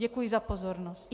Děkuji za pozornost.